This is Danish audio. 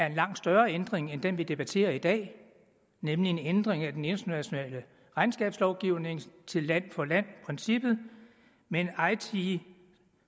en langt større ændring end den vi debatterer i dag nemlig en ændring af den internationale regnskabslovgivning til land for land princippet med eiti